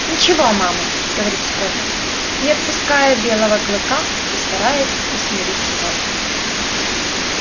ничего мама говорил скотт не отпуская белого клыка и стараясь усмирить его